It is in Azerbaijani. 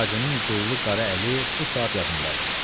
Hacının qıllı qara əli bu saat yadımdadır.